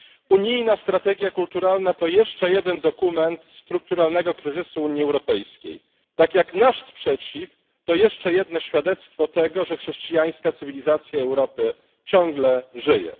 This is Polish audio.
Unijna strategia kulturalna to jeszcze jeden dokument strukturalnego kryzysu Unii Europejskiej, tak jak nasz sprzeciw, to jeszcze jedno świadectwo tego, że chrześcijańska cywilizacja Europy ciągle żyje.